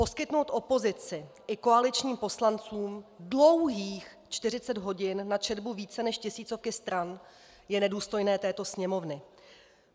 Poskytnout opozici i koaličním poslancům dlouhých 40 hodin na četbu více než tisícovky stran je nedůstojné této Sněmovny.